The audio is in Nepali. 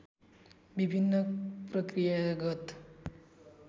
विभिन्न प्रक्रियागत